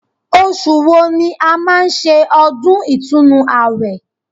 Osù wo ni a máa ń ṣe ọdún ìtúnu àwẹ̀